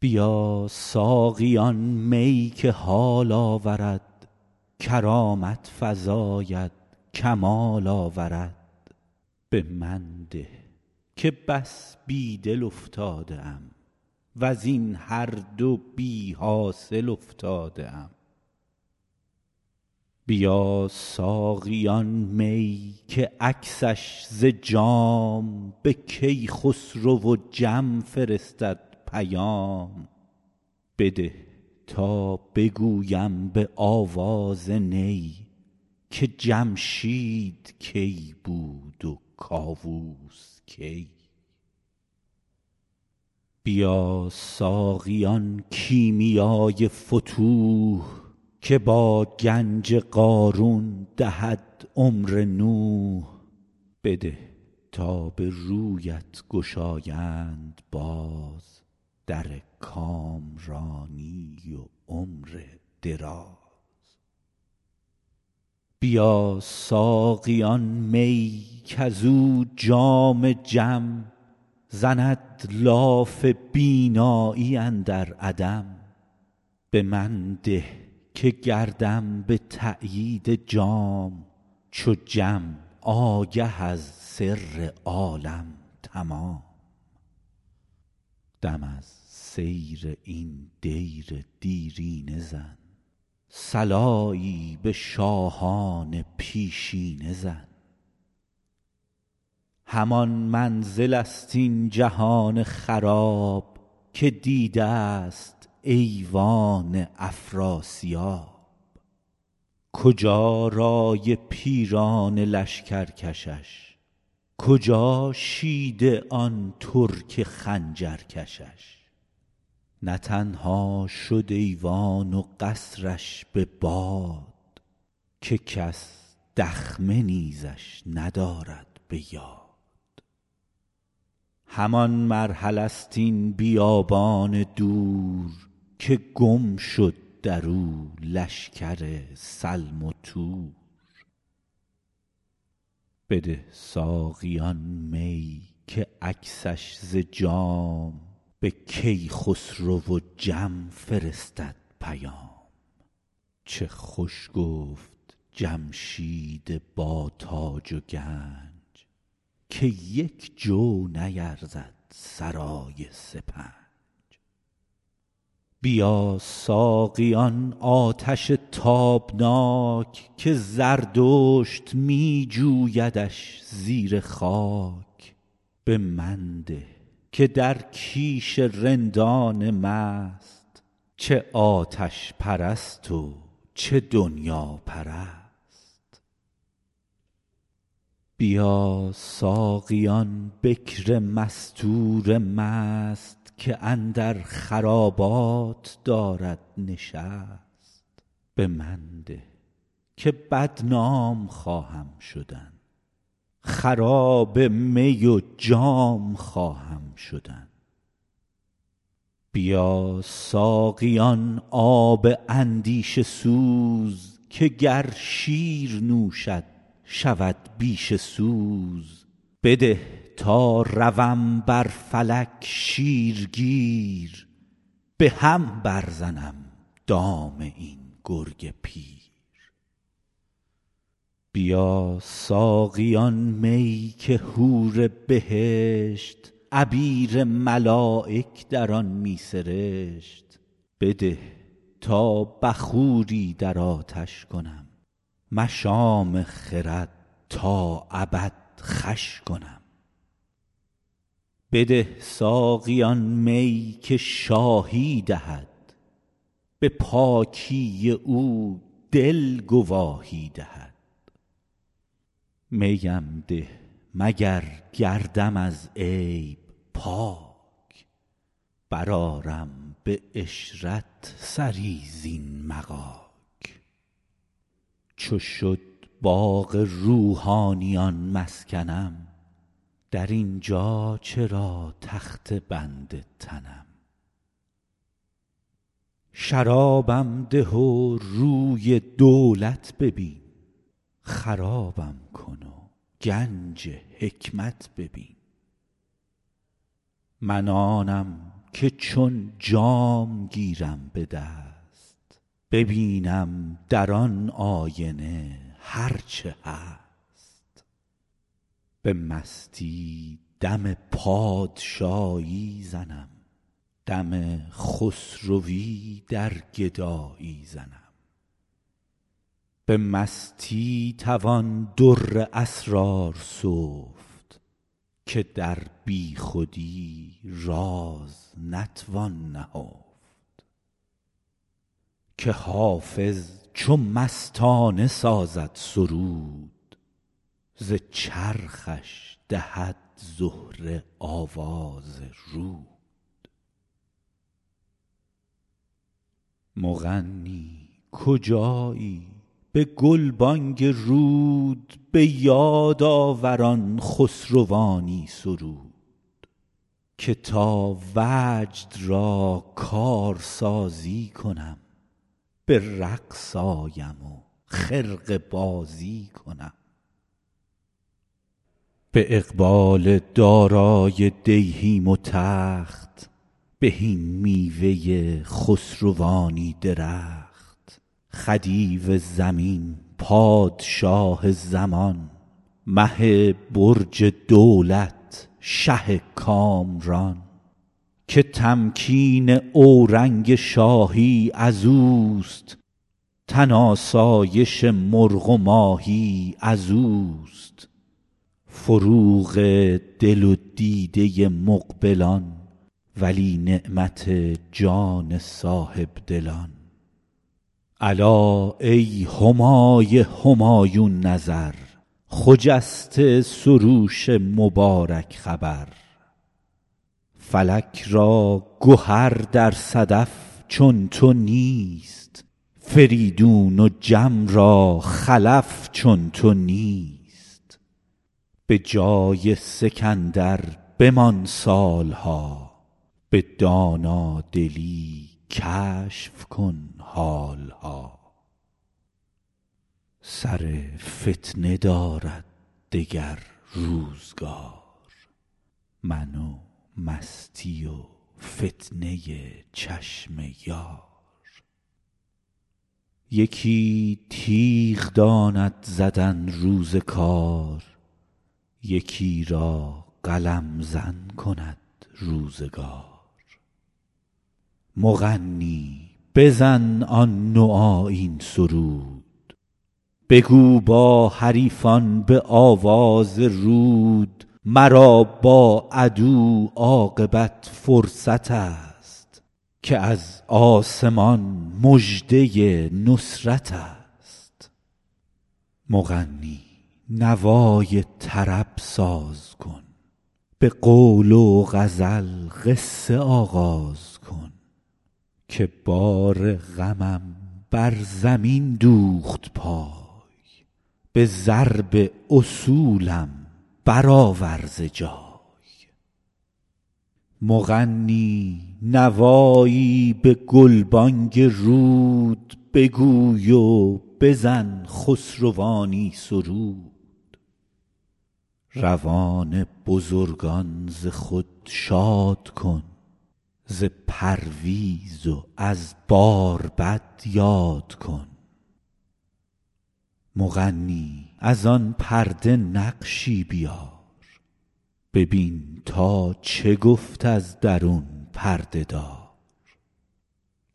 بیا ساقی آن می که حال آورد کرامت فزاید کمال آورد به من ده که بس بی دل افتاده ام وز این هر دو بی حاصل افتاده ام بیا ساقی آن می که عکسش ز جام به کیخسرو و جم فرستد پیام بده تا بگویم به آواز نی که جمشید کی بود و کاووس کی بیا ساقی آن کیمیای فتوح که با گنج قارون دهد عمر نوح بده تا به رویت گشایند باز در کامرانی و عمر دراز بده ساقی آن می کز او جام جم زند لاف بینایی اندر عدم به من ده که گردم به تأیید جام چو جم آگه از سر عالم تمام دم از سیر این دیر دیرینه زن صلایی به شاهان پیشینه زن همان منزل ست این جهان خراب که دیده ست ایوان افراسیاب کجا رأی پیران لشکر کشش کجا شیده آن ترک خنجر کشش نه تنها شد ایوان و قصر ش به باد که کس دخمه نیزش ندارد به یاد همان مرحله ست این بیابان دور که گم شد درو لشکر سلم و تور بده ساقی آن می که عکسش ز جام به کیخسرو و جم فرستد پیام چه خوش گفت جمشید با تاج و گنج که یک جو نیرزد سرای سپنج بیا ساقی آن آتش تابناک که زردشت می جویدش زیر خاک به من ده که در کیش رندان مست چه آتش پرست و چه دنیاپرست بیا ساقی آن بکر مستور مست که اندر خرابات دارد نشست به من ده که بدنام خواهم شدن خراب می و جام خواهم شدن بیا ساقی آن آب اندیشه سوز که گر شیر نوشد شود بیشه سوز بده تا روم بر فلک شیرگیر به هم بر زنم دام این گرگ پیر بیا ساقی آن می که حور بهشت عبیر ملایک در آن می سرشت بده تا بخوری در آتش کنم مشام خرد تا ابد خوش کنم بده ساقی آن می که شاهی دهد به پاکی او دل گواهی دهد می ام ده مگر گردم از عیب پاک برآرم به عشرت سری زین مغاک چو شد باغ روحانیان مسکنم در این جا چرا تخته بند تنم شرابم ده و روی دولت ببین خرابم کن و گنج حکمت ببین من آنم که چون جام گیرم به دست ببینم در آن آینه هر چه هست به مستی دم پادشاهی زنم دم خسروی در گدایی زنم به مستی توان در اسرار سفت که در بی خودی راز نتوان نهفت که حافظ چو مستانه سازد سرود ز چرخش دهد زهره آواز رود مغنی کجایی به گلبانگ رود به یاد آور آن خسروانی سرود که تا وجد را کارسازی کنم به رقص آیم و خرقه بازی کنم به اقبال دارای دیهیم و تخت بهین میوه خسروانی درخت خدیو زمین پادشاه زمان مه برج دولت شه کامران که تمکین اورنگ شاهی ازوست تن آسایش مرغ و ماهی ازوست فروغ دل و دیده مقبلان ولی نعمت جان صاحب دلان الا ای همای همایون نظر خجسته سروش مبارک خبر فلک را گهر در صدف چون تو نیست فریدون و جم را خلف چون تو نیست به جای سکندر بمان سال ها به دانادلی کشف کن حال ها سر فتنه دارد دگر روزگار من و مستی و فتنه چشم یار یکی تیغ داند زدن روز کار یکی را قلم زن کند روزگار مغنی بزن آن نوآیین سرود بگو با حریفان به آواز رود مرا بر عدو عاقبت فرصت است که از آسمان مژده نصرت است مغنی نوای طرب ساز کن به قول و غزل قصه آغاز کن که بار غمم بر زمین دوخت پای به ضرب اصولم برآور ز جای مغنی نوایی به گلبانگ رود بگوی و بزن خسروانی سرود روان بزرگان ز خود شاد کن ز پرویز و از باربد یاد کن مغنی از آن پرده نقشی بیار ببین تا چه گفت از درون پرده دار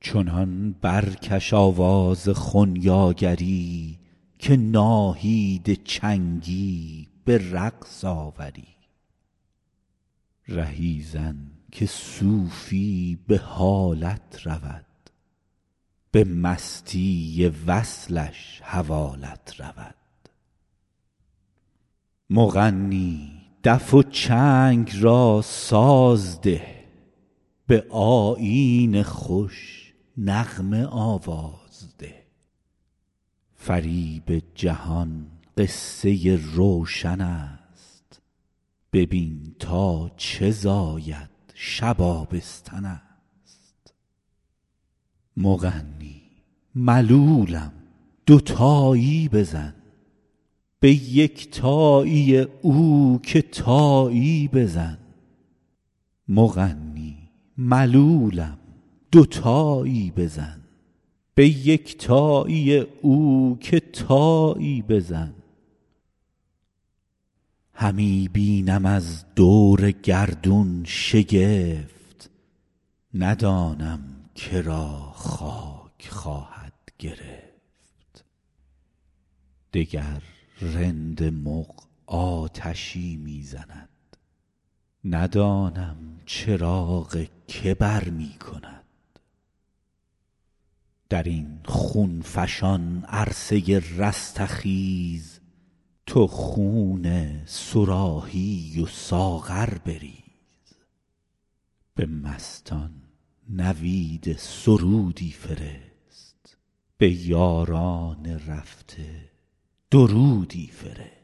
چنان برکش آواز خنیاگری که ناهید چنگی به رقص آوری رهی زن که صوفی به حالت رود به مستی وصلش حوالت رود مغنی دف و چنگ را ساز ده به آیین خوش نغمه آواز ده فریب جهان قصه روشن است ببین تا چه زاید شب آبستن است مغنی ملولم دوتایی بزن به یکتایی او که تایی بزن همی بینم از دور گردون شگفت ندانم که را خاک خواهد گرفت وگر رند مغ آتشی می زند ندانم چراغ که برمی کند در این خون فشان عرصه رستخیز تو خون صراحی و ساغر بریز به مستان نوید سرودی فرست به یاران رفته درودی فرست